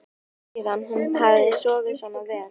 Það var langt síðan hún hafði sofið svona vel.